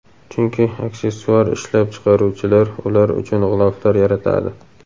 chunki aksessuar ishlab chiqaruvchilar ular uchun g‘iloflar yaratadi.